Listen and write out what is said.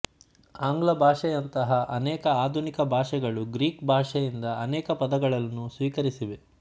ಆಂಗ್ಲ ಭಾಷೆಯಂತಹ ಅನೇಕ ಆಧುನಿಕ ಭಾಷೆಗಳು ಗ್ರೀಕ್ ಭಾಷೆಯಿಂದ ಅನೇಕ ಪದಗಳನ್ನು ಸ್ವೀಕರಿಸಿವೆ